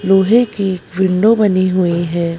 लोहे की विंडो बनी हुई है।